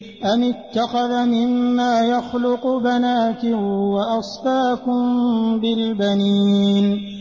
أَمِ اتَّخَذَ مِمَّا يَخْلُقُ بَنَاتٍ وَأَصْفَاكُم بِالْبَنِينَ